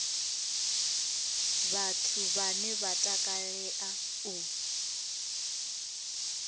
vhathu vhane vha takalea u